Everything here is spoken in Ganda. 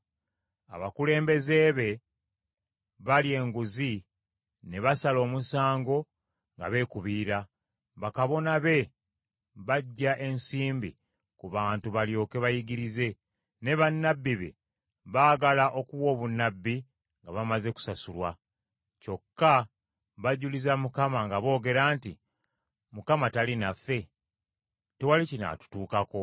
Abakulembeze be, balya enguzi ne basala omusango nga beekubiira, bakabona be, baggya ensimbi ku bantu balyoke bayigirize, ne bannabbi be, baagala okuwa obunnabbi nga bamaze kusasulwa. Kyokka bajuliza Mukama nga boogera nti, “ Mukama tali naffe? Tewali kinaatutuukako.”